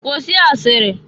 Kwụsị asịrị!